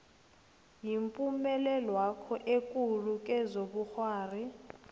yipumelelwakho ekulu kezobukghwari